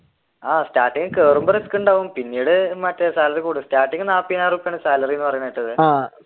ആഹ് starting കേറുമ്പോൾ risk ഉണ്ടാവും പിന്നീട് മറ്റേ salary കൂടും starting നാല്പതിനായിരം റുപ്യാ ആണ് salary എന്ന് പറയണത് കേട്ടത്.